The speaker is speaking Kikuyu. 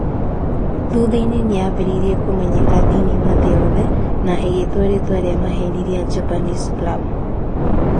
Thutha-inĩ nĩ yaambĩrĩirie kũmenyeka thĩinĩ wa thĩ yothe, na ĩgĩĩtwo na rĩĩtwa rĩa maheeni rĩa Japanese plum.